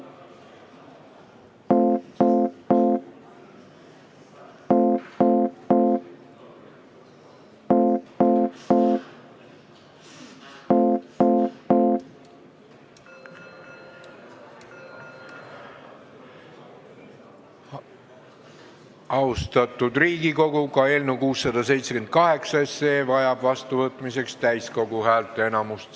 Austatud Riigikogu, ka eelnõu 678 vajab seadusena vastuvõtmiseks täiskogu häälteenamust.